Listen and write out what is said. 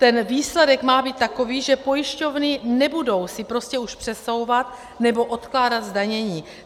Ten výsledek má být takový, že pojišťovny nebudou si prostě už přesouvat nebo odkládat zdanění.